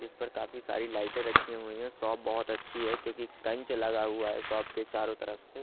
इस पर काफी सारी लाइटे रखी हुई हैं शॉप बहोत अच्छी है क्योंकि कंच लगा हुआ है शॉप के चारों तरफ से--